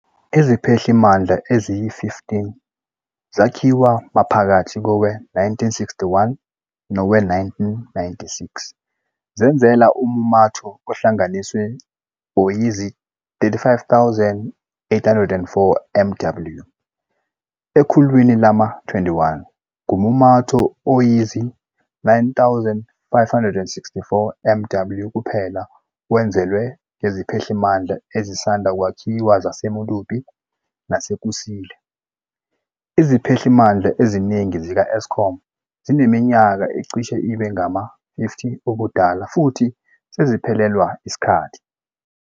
Iziphehlimandla eziyi-15 zakhiwa maphakathi kowe-1961 nowe-1996, zenezela ummumatho ohlanganiswe oyizi-35,804 MW. Ekhulwini lama-21, ngummumatho oyizi-9,564 MW kuphela owenezelwe ngeziphehlimandla ezisanda kwakhiwa zaseMedupi naseKusile. Iziphehlimandla eziningi zika-Eskom zineminyaka ecishe ibe ngama-50 ubudala futhi seziphelelwa isikhathi.